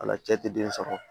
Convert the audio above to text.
Ala cɛ tɛ den sɔrɔ